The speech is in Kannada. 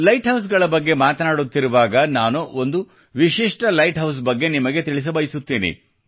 ಲೈಟ್ ಹೌಸ್ಗಳ ಬಗ್ಗೆ ಮಾತನಾಡುತ್ತಿರುವಾಗ ನಾನು ಒಂದು ವಿಶಿಷ್ಟ ಲೈಟ್ ಹೌಸ್ ಬಗ್ಗೆ ನಿಮಗೆ ತಿಳಿಸ ಬಯಸುತ್ತೇನೆ